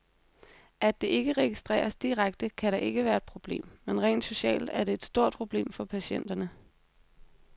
At det ikke registreres direkte, kan da ikke være et problem, men rent socialt er det et stort problem for patienterne.